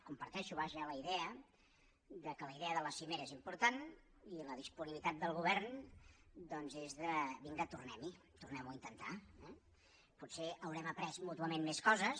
comparteixo vaja la idea que la idea de la cimera és important i la disponibilitat del govern doncs és de vinga tornem hi tornem ho a intentar eh potser haurem après mútuament més coses